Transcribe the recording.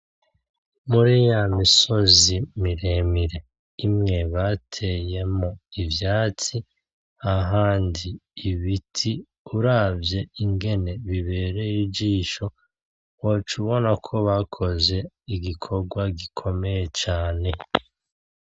Muri yamisozi miremire imwe bateyemwo ivyatsi ahandi ibiti uravye ingene bibereye ijisho woca ubona ko bakoze igikorwa gikomeye cane.